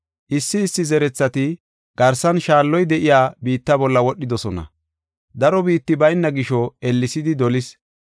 Issi issi zerethati garsan shaalloy de7iya biitta bolla wodhidosona. Daro biitti bayna gisho ellesidi dolis.